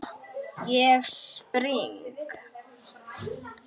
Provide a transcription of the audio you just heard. Ég spring.